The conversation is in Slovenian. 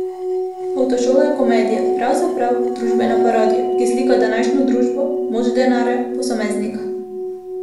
Avtošola je komedija, pravzaprav družbena parodija, ki slika današnjo družbo, moč denarja, posameznika ...